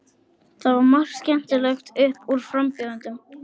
Jónsi lagði eyrað við svefnherbergisdyrnar og sagði svo undrandi.